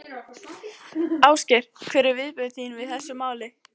Ásgeir: Hver eru viðbrögð þín við þessu máli?